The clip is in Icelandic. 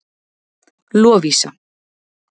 Lovísa